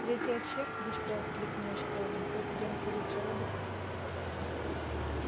третий отсек быстро откликнулась кэлвин тот где находятся роботы